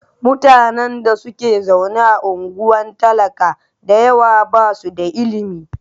Mutanen da ke zaune a unguwar talaka da yawa ba su da ilimi.